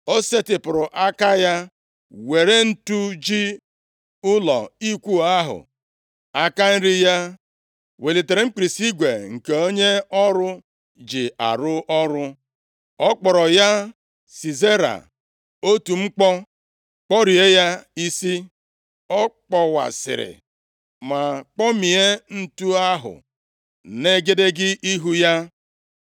O setịpụrụ aka ya were ǹtu ji ụlọ ikwu ahụ, aka nri ya welitere mkpirisi igwe nke onye ọrụ ji arụ ọrụ. Ọ kpọrọ ya Sisera otu mkpọ, kpọrie ya isi, ọ kpọwasịrị, ma kpọmie ǹtu ahụ nʼegedege ihu ya.